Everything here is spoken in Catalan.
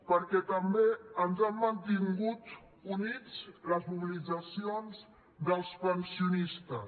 perquè també ens han mantingut units les mobilitzacions dels pensionistes